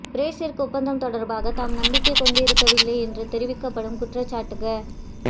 Brexit ஒப்பந்தம் தொடர்பாக தாம் நம்பிக்கை கொண்டிருக்கவில்லை என்று தெரிவிக்கப்படும் குற்றச்சாட்டுக